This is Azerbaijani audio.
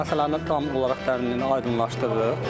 Biz bu məsələni tam olaraq dərinliyini aydınlaşdırırıq.